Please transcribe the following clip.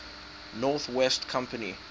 north west company